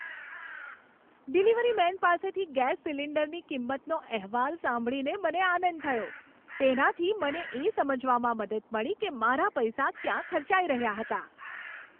Delivery man પાસેથી gas સિલિન્ડરની કિંમતનો અહેવાલ સાંભળીને મને આનંદ થયો. તેનાથી મને એ સમજવામાં મદદ મળી કે મારા પૈસા ક્યાં ખર્ચાઈ રહ્યા હતા.